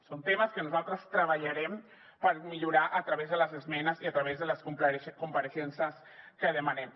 són temes que nosaltres treballarem per millorar a través de les esmenes i a través de les compareixences que demanem